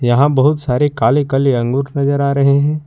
यहां बहुत सारे काले काले अंगूर नजर आ रहे हैं।